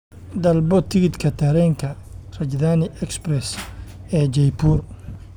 Dalbo tigidhka tareenka rajdhani express ee jaipur